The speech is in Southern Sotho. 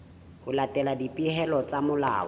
ho latela dipehelo tsa molao